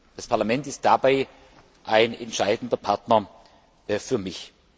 Das Parlament ist dabei ein entscheidender Partner für mich.